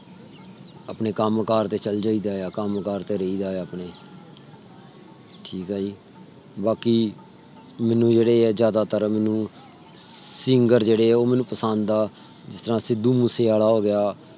ਆਪਣੇ ਕਮ ਕਰ ਤੇ ਚਲ ਜਾਇ ਦਾ ਆ। ਕੰਮ ਕਾਰ ਕਰਿ ਦਾ ਆ। ਠੀਕ ਆ ਜੀ ਬਾਕੀ ਮੈਨੂੰ ਜਿਹੜੇ ਜ਼ਿਆਦਾਤਰ ਮੈਨੂੰ singer ਜੇੜੇ ਆ ਮੈਨੂੰ ਪਸੰਦ ਆ। ਜਿਦਾਂ ਸਿੱਧੂਮੂਸੇਆਲਾ ਹੋ ਗਿਆ.